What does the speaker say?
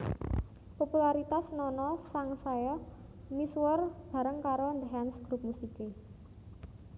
Popularitas Nono sangsaya misuwur bareng karo The Hands grup musiké